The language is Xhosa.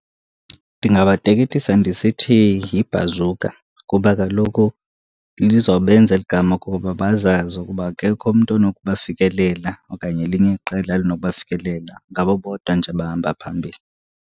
Ndingabateketisa ndisithi yiBhazuka kuba kaloku lizobenza eli gama ukuba bazazi ukuba akekho umntu onokubafikelela okanye elinye iqela elinokubafikelela. Ngabo bodwa nje abahamba phambili.